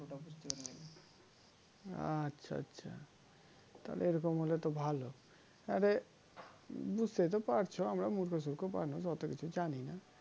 আচ্ছা আচ্ছা তাহলে এরকম হলে তো ভালো আরে বুঝতেই তো পারছো আমরা মূর্খ সূর্খ মানুষ অত কিছু জানিনা